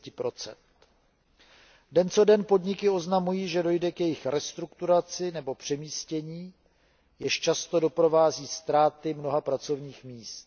10 .Den co den podniky oznamují, že dojde k jejich restrukturalizaci nebo přemístění, jež často doprovází ztráty mnoha pracovních míst.